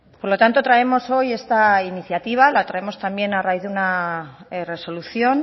por lo tanto traemos hoy esta iniciativa la traemos también a raíz de una resolución